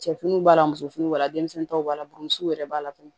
Cɛfiniw b'a la musofini b'a la denmisɛnninw b'a la burusuw yɛrɛ b'a la fɛnɛ